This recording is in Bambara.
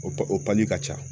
O o pali ka ca!